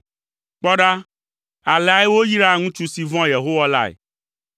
Kpɔ ɖa, aleae woyraa ŋutsu si vɔ̃a Yehowa lae.